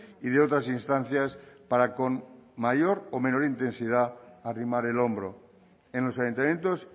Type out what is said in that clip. y de otras instancias para con mayor o menor intensidad arrimar el hombro en los ayuntamientos